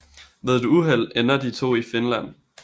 Ved et uheld ender de to i Finland